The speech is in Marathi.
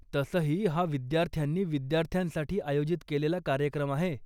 तसंही, हा विद्यार्थ्यांनी विद्यार्थ्यांसाठी आयोजित केलेला कार्यक्रम आहे.